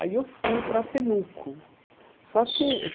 Aí eu fui para Temuco só que.